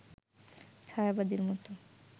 ছায়াবাজির মত